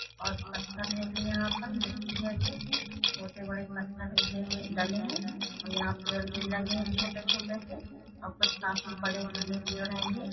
और पत्थर हैं ये यहाँ पर मिट्टी हैं छोटे- बड़े पत्थर लगे डले है और यहाँ पेड़ भी लगे है छोटे- छोटे ओर कुछ काफी बड़े घने पेड़ हैंये--